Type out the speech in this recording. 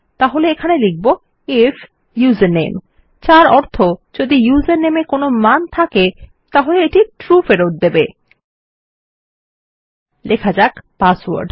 তাহলে এখানে লিখব আইএফ ইউজারনেম যার অর্থ যদি ইউজারনেম এর কোনো মান থাকে এই ট্রু ফেরত দেবে লেখা যাক পাসওয়ার্ড